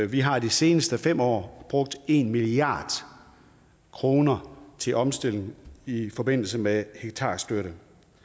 vi har de seneste fem år brugt en milliard kroner til omstillingen i forbindelse med hektarstøtte